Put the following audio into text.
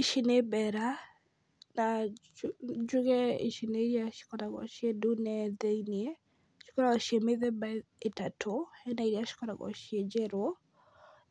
Ici nĩ mbera, na njuge ici ni iria cikoragwo ciĩ ndune thĩinĩ. Cikoragwo ciĩ mĩthemba ĩtatũ, hena iria cikoragwo ciĩ njerũ